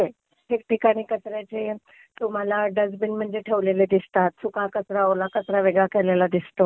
ठिकठिकाणी कचऱ्याचे तुम्हाला डस्टबिन म्हणजे ठेवलेले दिसतात, सुका कचरा, ओला कचरा वेगळा केलेला दिसतो.